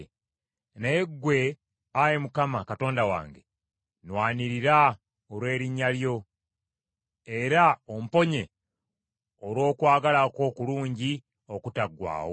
Naye ggwe, Ayi Mukama Katonda wange, nnwanirira olw’erinnya lyo; era omponye olw’okwagala kwo okulungi okutaggwaawo.